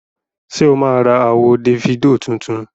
Ṣé o máa ra àwo Dèfídò tuntun?